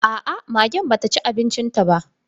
Aa, magen ba ta ci abincin ba.